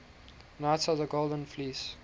knights of the golden fleece